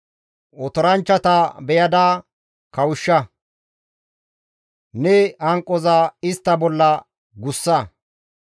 Otoranchchata beyada kawushsha; ne hanqoza istta bolla guussa.